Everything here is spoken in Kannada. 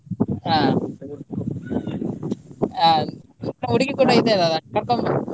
ಹ ಹುಡುಗಿ ಕೂಡ ಇದ್ದಾಳೆ ಅಲ ಕರ್ಕೊಂಡು ಬಾ.